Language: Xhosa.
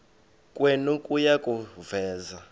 kwenu kuya kuveza